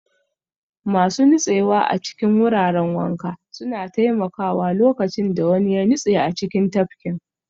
Masu nutsewa a cikin wuraren wanka suna taimakawa lokacin da wani ya nutse a cikin tafkin